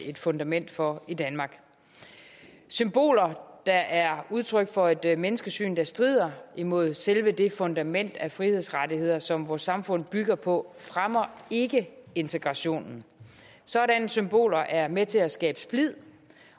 et fundament for i danmark symboler der er udtryk for et menneskesyn der strider imod selve det fundament af frihedsrettigheder som vores samfund bygger på fremmer ikke integrationen sådanne symboler er med til at skabe splid